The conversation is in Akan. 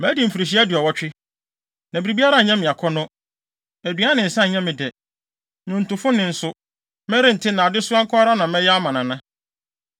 Madi mfirihyia aduɔwɔtwe, na biribiara nyɛ me akɔnnɔ. Aduan ne nsa nyɛ me dɛ. Nnwontofo nne nso, merente na adesoa nko ara na mɛyɛ ama Nana.